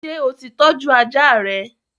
Ṣé o ti tọ́jú ajá rẹ?